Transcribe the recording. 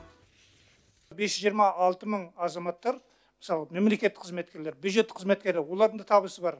бес жүз жиырма алты мың азаматтар мысалы мемлекеттік қызметкерлер бюджеттік қызметкері олардың да табысы бар